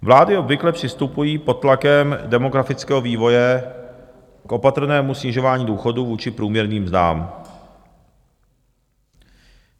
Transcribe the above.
Vlády obvykle přistupují pod tlakem demografického vývoje k opatrnému snižování důchodů vůči průměrným mzdám.